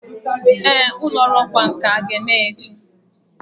Ee, ụlọ ọrụ ọkwá nkà ga-emeghe echi